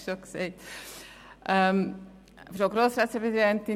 Gut, ich habe es schon gesagt.